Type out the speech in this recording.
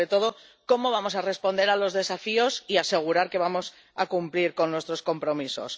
Y, sobre todo, ¿cómo vamos a responder a los desafíos y asegurar que vamos a cumplir nuestros compromisos?